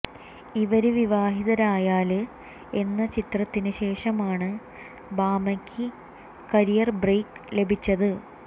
ഇവര് വിവാഹിതരായാല് എന്ന ചിത്രത്തിന് ശേഷമാണ് ഭാമയ്ക്ക് കരിയര് ബ്രേക്ക് ലഭിച്ചത്